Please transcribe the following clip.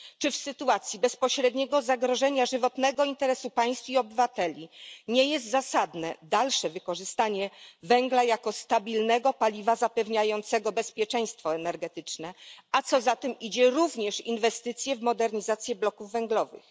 Czy w sytuacji bezpośredniego zagrożenia żywotnego interesu państw i obywateli nie jest zasadne dalsze wykorzystanie węgla jako stabilnego paliwa zapewniającego bezpieczeństwo energetyczne, a co za tym idzie, również inwestycje w modernizację bloków węglowych?